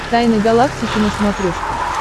тайны галактики на смотрешке